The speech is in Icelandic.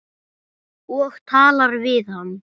Og talar við hann.